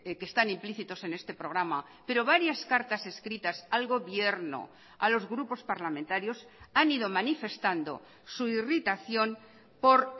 que están implícitos en este programa pero varias cartas escritas al gobierno a los grupos parlamentarios han ido manifestando su irritación por